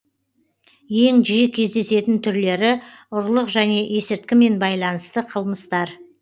ең жиі кездесетін түрлері ұрлық және есірткімен байланысты қылмыстар